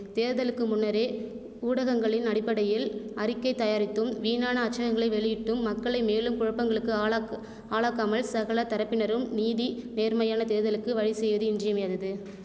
தேர்தலுக்கு முன்னரே ஊடகங்களின் அடிப்படையில் அறிக்கை தயாரித்தும் வீணான அச்சகங்களை வெளியிட்டும் மக்களை மேலும் குழப்பங்களுக்கு ஆளாக்கு ஆளாக்காமல் சகல தரப்பினரும் நீதி நேர்மையான தேர்தலுக்கு வழிசெய்வது இன்றியமையாதது